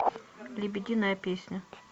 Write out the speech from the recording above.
лебединая песня